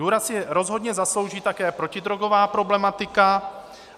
Důraz si rozhodně zaslouží také protidrogová problematika.